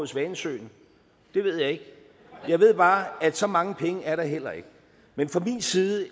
svanesøen det ved jeg ikke jeg ved bare at så mange penge er der heller ikke men fra min side er